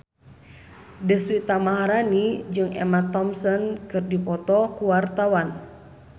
Deswita Maharani jeung Emma Thompson keur dipoto ku wartawan